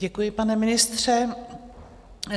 Děkuji, pane ministře.